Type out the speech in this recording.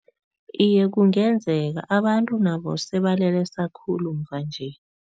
Iye, kungenzeka. Abantu nabo sebalelesa khulu mvanje.